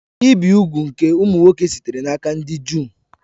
Ibi úgwù nke ụmụ nwoke sitere n'aka ndị Juu